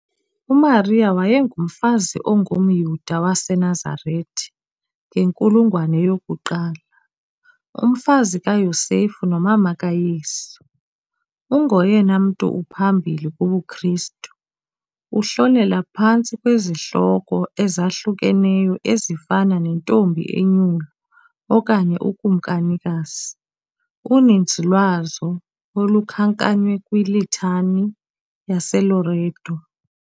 UMariya wayengumfazi ongumYuda waseNazarete ngenkulungwane yokuqala, umfazi kaYosefu nomama kaYesu. Ungoyena mntu uphambili kubuKristu, uhlonelwa phantsi kwezihloko ezahlukeneyo ezifana nentombi enyulu okanye ukumkanikazi, uninzi lwazo olukhankanywe kwiLitany yaseLoreto.